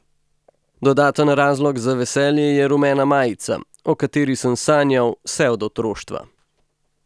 Dodaten razlog za veselje je rumena majica, o kateri sem sanjal vse od otroštva.